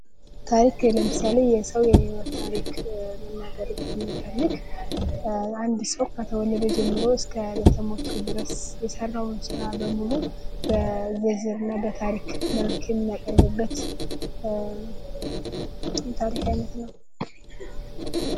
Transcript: ታሪክ ለምሳሌ የሰው የሕይወት ታሪክ መናገር ብንፈልግ አንድ ሰው ከተወለደ ጀምሮ እስከ እለተ ሞቱ ድረስ የሰራዉን ሥራ በሙሉ በታሪክ መልክ የምናቀርብበት የታሪክ አይነት ነው::